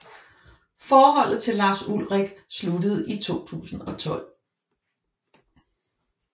Forholdet til Lars Ulrich sluttede i 2012